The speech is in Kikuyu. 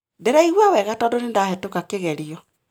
Ndĩraigua wega tondũ nĩndahetũka kĩgerio